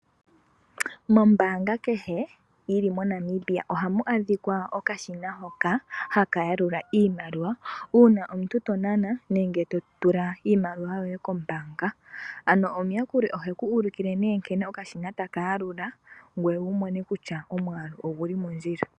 Mombaanga kehe yili mo Namibia ohamu adhika okashina hoka haka yalula iimaliwa uuna omuntu to nana nenge to tula iimaliwa yoye kombaanga. Ano omayakuli oheku ulukile nkene okashina taka yalula ngoye wu mone kutya omwaalu oguli mondjila.